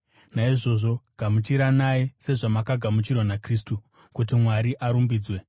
Naizvozvo, gamuchiranai, sezvamakagamuchirwa naKristu, kuti Mwari arumbidzwe.